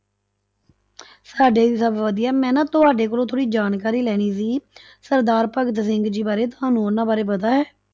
ਸਾਡੇ ਵੀ ਸਭ ਵਧੀਆ, ਮੈਂ ਨਾ ਤੁਹਾਡੇ ਕੋਲੋਂ ਥੋੜ੍ਹੀ ਜਾਣਕਾਰੀ ਲੈਣੀ ਸੀਗੀ ਸਰਦਾਰ ਭਗਤ ਸਿੰਘ ਜੀ ਬਾਰੇ, ਤੁਹਾਨੂੰ ਉਹਨਾਂ ਬਾਰੇ ਪਤਾ ਹੈ?